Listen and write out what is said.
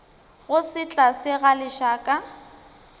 go se tlale ga lešaka